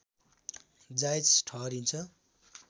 जायज ठहरिन्छ